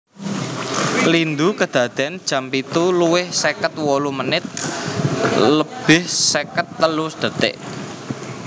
Lindhu kedadéyan jam pitu lebih seket wolu menit lebih seket telu detik